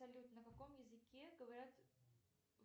салют на каком языке говорят